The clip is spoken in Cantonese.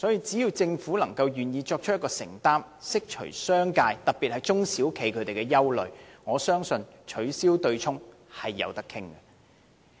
只要政府願意作出承擔，釋除商界，特別是中小企的憂慮，我相信取消對沖機制是可以討論的。